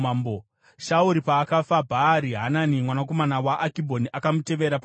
Shauri paakafa Bhaari Hanani mwanakomana waAkibhori akamutevera paumambo.